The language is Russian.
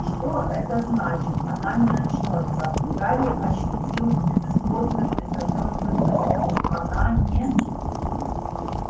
что это значит она не очнётся гарри ощутил безысходную безнадёжную тоску она не